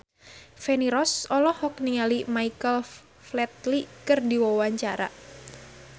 Feni Rose olohok ningali Michael Flatley keur diwawancara